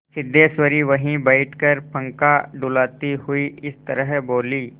सिद्धेश्वरी वहीं बैठकर पंखा डुलाती हुई इस तरह बोली